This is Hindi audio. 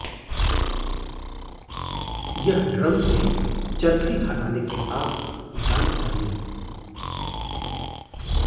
यह ड्रम से चरखी हटाने के पास जाना चाहिए